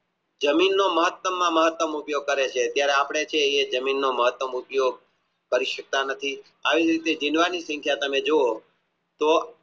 જમીનનો મહત્તમ માં મહત્તમ ઉપયોગ કરે છે જયારે જમીનનો મહત્તમ ઉપયોગ કરી સકતા નથી આવી રીતે ડીંડવાની સંખ્યા તમે જુઓ તો